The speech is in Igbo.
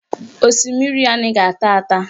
Osimiri anaghị ata ata